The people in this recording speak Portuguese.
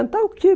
Cantar o quê?